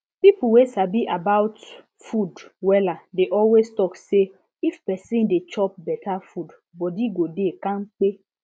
people wey sabi about food wella dey always talk say if person dey chop better food body go dey kampe